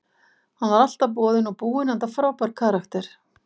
Hann var alltaf boðinn og búinn enda frábær karakter.